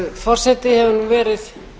forseti hefur verið